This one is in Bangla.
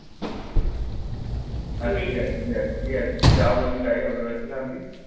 আচ্ছা ঠিক আছে, ঠিক আছে, ঠিক আছে তুই যা বলবি তাই হবে। হয়েছে শান্তি?